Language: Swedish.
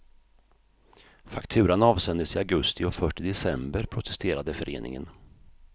Fakturan avsändes i augusti och först i december protesterade föreningen.